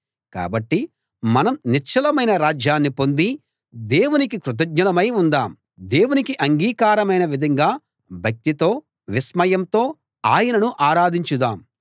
కాబట్టి మనం నిశ్చలమైన రాజ్యాన్ని పొంది దేవునికి కృతజ్ఞులమై ఉందాం దేవునికి అంగీకారమైన విధంగా భక్తితో విస్మయంతో ఆయనను ఆరాధించుదాం